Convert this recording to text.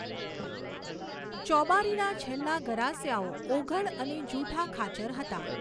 ચોબારીના છેલ્લા ગરાસિયાઓ ઓઘડ અને જુઠા ખાચર હતા.